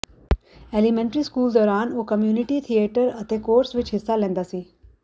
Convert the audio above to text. elementary school ਦੌਰਾਨ ਉਹ community theatre ਅਤੇ ਕੋਰਸ ਵਿੱਚ ਹਿੱਸਾ ਲੈਂਦਾ ਸੀ